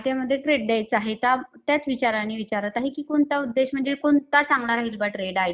तूच माझ्यासाठी, खूप काही आहे.